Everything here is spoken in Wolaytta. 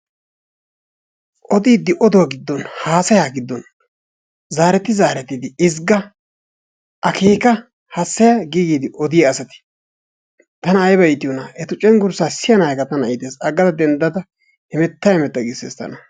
Odiiddi oduwa giddon, haasayaa giddon zaaretti zaarettidi ezgga, akeeka, hassaya gi giidi odiya asati tana ayba iitiyonaa, eta cenggurssaa siyanaageekka iitees. Denddada hemetta hemetta giissees tana.